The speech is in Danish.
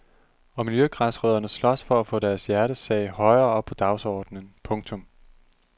Og miljøgræsrødderne slås for at få deres hjertesag højere op på dagsordenen. punktum